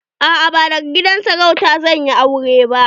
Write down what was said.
A'a ba daga gidan sarauta zan yi aure ba.